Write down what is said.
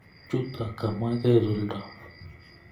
Chuto kamwa kesulda